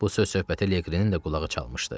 Bu söz-söhbətə Leqrenin də qulağı çalmışdı.